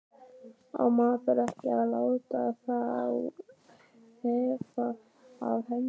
Á maður ekki að láta þá þefa af hendinni?